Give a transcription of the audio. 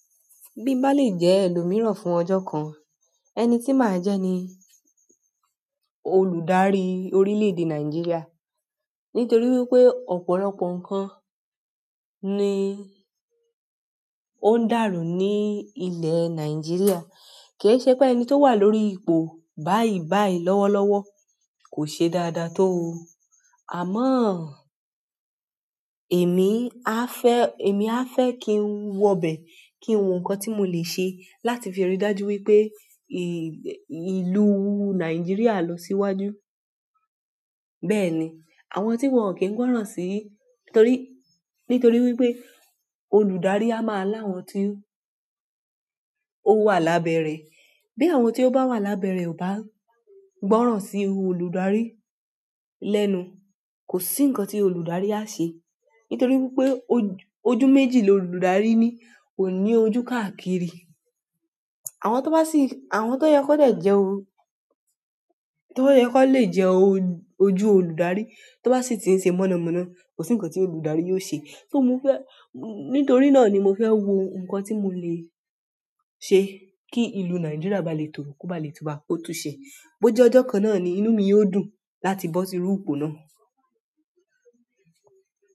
Bí ba lè jẹ́ ẹlòmíràn fún ọjọ́ kan, ẹni tí màá jẹ́ ni olùdarí orílẹ̀-èdè Nàìjíríà. Nítorí wípé ọ̀pọ̀lọpọ̀ ǹkan ni ó ń dàrú ní ilẹ̀ Nàìjíríà. Kìí ṣe pé ẹni tó wà lórí ipò báyìí báyìí lọ́wọ́lọ́wọ́ kò ṣe dáadáa tó o. Àmọ́ èmi á fẹ́, èmi á fẹ́ kí n wọ bẹ̀ kí n wo ǹkan tí mo le ṣe láti fi ri dájú wípé ì, ìlú Nàìjíríà lọ síwájú. Bẹ́ẹ̀ ni, àwọn tí wọ́n kìí gbọ́ràn sí, nítorí, nítorí wípé olùdarí a máa láwọn tí ó wà lábẹ́ rẹ̀. Bí àwọn tí ó bá wà lábẹ́ rẹ̀ ò bá gbọ́ràn sí olùdarí lẹ́nu, kò sí ǹkan tí olùdarí á ṣe. Nítorí wípé ojú méjì l'olùdarí ní, kò ní ojú káàkiri. Àwọn tó bá sì, àwọn tó yẹ kó lè jẹ́ o, tó yẹ kó lè jẹ́ o jú olùdarí tó bá sì ti ń ṣe mọ̀nàmọ́ná, kò sí ǹkan tí olùdarí yóò ṣe. Só mo fẹ́, nítorí náà ni mo fẹ́ wo ǹkan tí mo le ṣe kí ìlú Nàìjíríà ba lè tòrò kó ba lè túba. Ó tuṣẹ, bó jẹ́ ọjọ́ kan náà ni inúu mi yóò dùn láti bọ́ síru ipò náà.